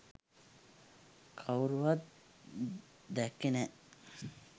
කවුරුවත් දැක්කෙ නෑ.